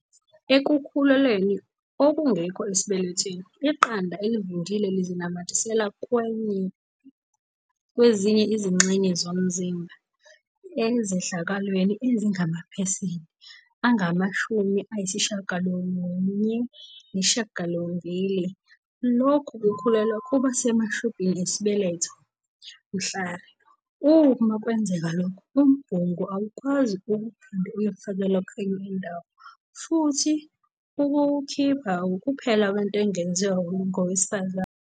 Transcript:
"Ekukhulelweni okungekho esibelethweni, iqanda elivundile lizinamathelisa kwezinye izingxenye zomzimba. Ezehlakalweni ezingamaphesenti angama-98, lokhu kukhulelwa kuba semashubhini esibeletho. Mhlari. Uma kwenzeka lokhu, umbungu awukwazi ukuphinde uyofakelwa kwenye indawo futhi ukuwukhipha wukuphela kwento engenziwa ngowesifazane."